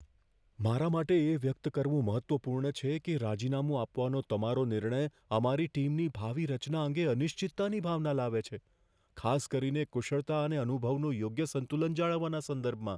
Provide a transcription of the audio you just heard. મારા માટે એ વ્યક્ત કરવું મહત્વપૂર્ણ છે કે રાજીનામું આપવાનો તમારો નિર્ણય અમારી ટીમની ભાવિ રચના અંગે અનિશ્ચિતતાની ભાવના લાવે છે, ખાસ કરીને કુશળતા અને અનુભવનું યોગ્ય સંતુલન જાળવવાના સંદર્ભમાં.